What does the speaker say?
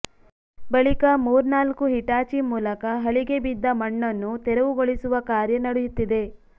ಬಳಿಕ ಮೂರ್ನಾಲ್ಕು ಹಿಟಾಚಿ ಮೂಲಕ ಹಳಿಗೆ ಬಿದ್ದ ಮಣ್ಣನ್ನು ತೆರವುಗೊಳಿಸುವ ಕಾರ್ಯ ನಡೆಯುತ್ತಿದೆ